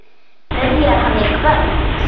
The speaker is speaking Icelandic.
Byrjar hann í kvöld?